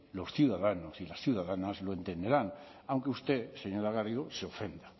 los ciudadanos y las ciudadanas lo entenderán aunque usted señora garrido se ofenda